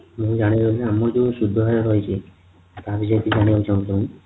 ମୁଁ ଜାଣିବାକୁ ଚାହୁଁଛି ଆମର ଯୋଉ ସୁଧ ହାର ରହିଛି ଆପଣ ଯୋଉ ଜାଣିବାକୁ ଚାହୁଁଛନ୍ତି